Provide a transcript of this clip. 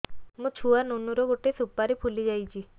ମୋ ଛୁଆ ନୁନୁ ର ଗଟେ ସୁପାରୀ ଫୁଲି ଯାଇଛି